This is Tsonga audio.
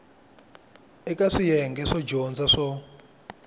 eka swiyenge swo dyondza swo